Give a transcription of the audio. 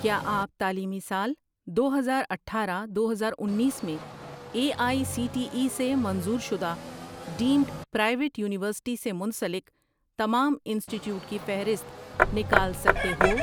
کیا آپ تعلیمی سال دو ہزار آٹھارہ، دو ہزار انیس میں A I C T E سے منظور شدہ ڈیمڈ پرائیویٹ یونیورسٹی سے منسلک تمام انسٹی ٹیوٹ کی فہرست نکال سکتے ہو؟